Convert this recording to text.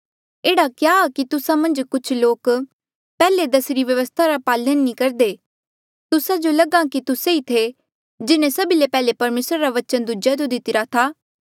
एह्ड़ा क्या आ कि तुस्सा मन्झ कुछ लोक पैहले दसीरी व्यवस्था रा पालन नी करदे तुस्सा जो लगहा कि तुस्सा ही थे जिन्हें सभी ले पैहले परमेसरा रा बचन दूजेयो दितिरा था